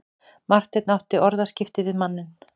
Marteinn átti orðaskipti við manninn.